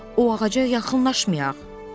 O ağaca yaxınlaşmayaq.